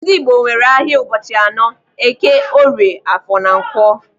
Ndị Igbo nwere ahịa ụbọchị anọ: eke, orie, afọ na nkwọ.